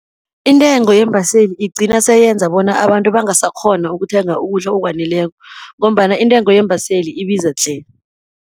Intengo yeembaseli igcina seyenza bona abantu bangasakghoni ukuthenga ukudla okwaneleko, ngombana intengo yeembaseli ibiza tle.